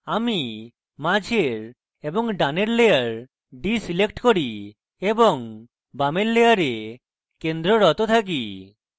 আমি মাঝের এবং ডানের layer ডীselect করি এবং বাম layer কেন্দ্ররত থাকি